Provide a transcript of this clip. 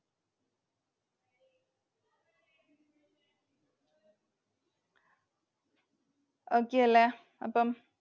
Okay അല്ലെ? അപ്പം